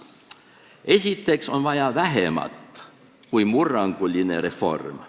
Esiteks on vaja vähemat kui murranguline reform.